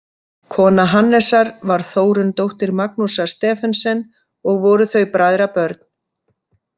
Kona Hannesar var Þórunn, dóttir Magnúsar Stephensen, og voru þau bræðrabörn.